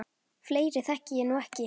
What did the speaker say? Fleiri þekki ég nú ekki.